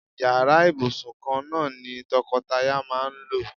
Yàrá ìbùsùn kan náà ni to̩ko̩taya máa ń lò.